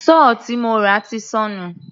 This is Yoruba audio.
Sọ́ọ̀ tí mo rà ti sọnù.